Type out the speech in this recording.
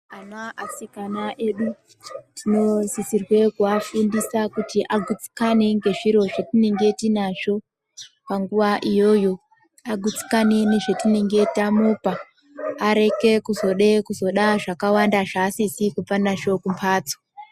Ana asikana edu tinosisirwe kuafundisa kuti agutsikane ngezviro zvetinge tinazvo panguva iyoyo agutsikane nezvitinenge tamupa areke kuzode kuzoda zvakawanda zvaasizi kubva nazvo kumbatso.